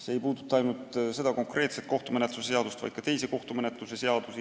See ei puuduta ainult seda konkreetset kohtumenetluse seadust, vaid ka teisi kohtumenetlust käsitlevaid seadusi.